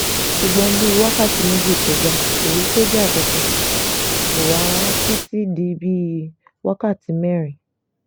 ṣùgbọ́n bíi wákàtí méjì kọjá kó rí sójà kankan kó wà títí di bíi wákàtí mẹ́rin